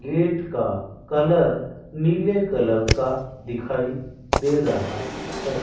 Gate का colour नीले colour का दिखाई दे रहा है।